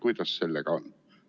Kuidas sellega on?